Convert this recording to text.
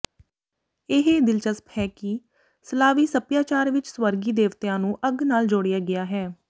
ਇਹ ਦਿਲਚਸਪ ਹੈ ਕਿ ਸਲਾਵੀ ਸੱਭਿਆਚਾਰ ਵਿਚ ਸਵਰਗੀ ਦੇਵਤਿਆਂ ਨੂੰ ਅੱਗ ਨਾਲ ਜੋੜਿਆ ਗਿਆ ਹੈ